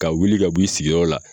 Ka wuli ka b'i sigiyɔrɔ la